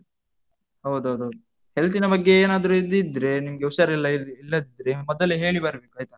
ಹೌದೌದು. health ನ ಬಗ್ಗೆ ಏನಾದ್ರು ಇದ್ ಇದ್ರೆ ನಿಮಗೆ ಉಷಾರಿಲ್ಲದಿದ್ರೆ, ಮೊದಲೇ ಹೇಳಿ ಬರ್ಬೇಕು ಆಯ್ತಾ?